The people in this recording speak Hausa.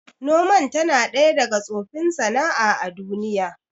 Noman tana ɗaya daga tsofin sana'a a duniya